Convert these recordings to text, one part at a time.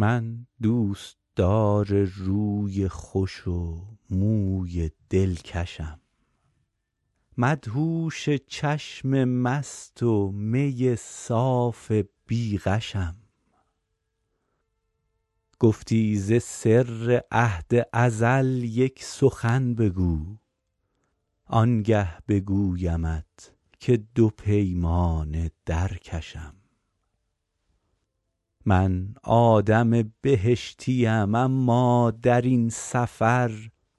من دوستدار روی خوش و موی دلکشم مدهوش چشم مست و می صاف بی غشم گفتی ز سر عهد ازل یک سخن بگو آنگه بگویمت که دو پیمانه در کشم من آدم بهشتیم اما در این سفر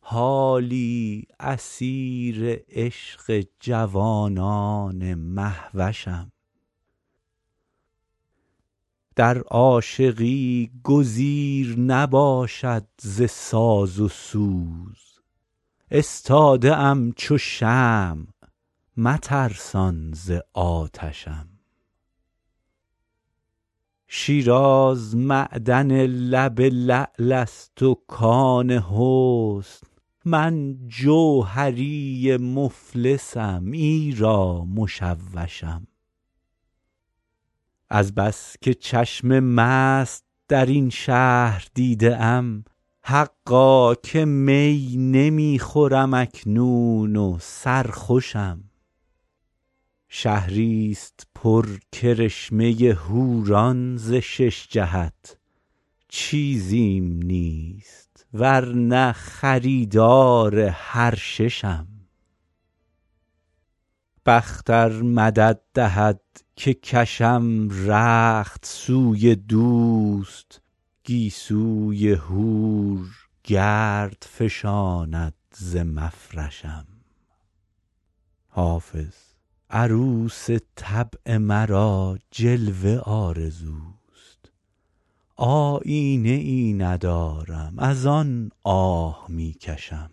حالی اسیر عشق جوانان مهوشم در عاشقی گزیر نباشد ز ساز و سوز استاده ام چو شمع مترسان ز آتشم شیراز معدن لب لعل است و کان حسن من جوهری مفلسم ایرا مشوشم از بس که چشم مست در این شهر دیده ام حقا که می نمی خورم اکنون و سرخوشم شهریست پر کرشمه حوران ز شش جهت چیزیم نیست ور نه خریدار هر ششم بخت ار مدد دهد که کشم رخت سوی دوست گیسوی حور گرد فشاند ز مفرشم حافظ عروس طبع مرا جلوه آرزوست آیینه ای ندارم از آن آه می کشم